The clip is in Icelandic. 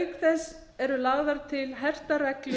auk þess eru lagðar til hertar reglur